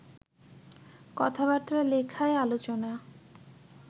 কথাবার্তা লেখায়, আলোচনা